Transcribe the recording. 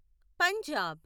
Punjab